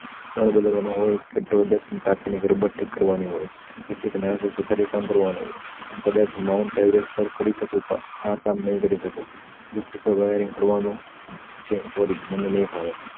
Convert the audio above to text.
નળ બદલવાનો હોય કે ટોઇલેટ ની ટાકીની રબ્બર ઠીક કરવાની હોય પછી કે કઈક સુથારી કામ કરવાનું હોય હું કદાચ mount everest સર કરી શકું પણ આ કામ નય કરી શકું દસ ટકા wiring કરવાનું છે sorry મને નય ફાવે